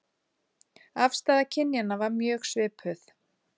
Afstaða kynjanna var mjög svipuð